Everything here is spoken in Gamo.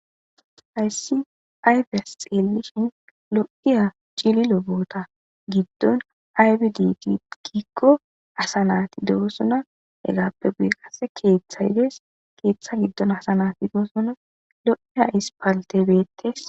Hayssi aybeas xeelishin lo'iya cili lobota giddon aybid tdgikko asa nati doosuna egappe guye qasse keeththay dees keeththa giddon asanati doosona lo'iya ispaltebeettes.